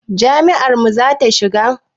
Jam'iyar mu zaka shiga?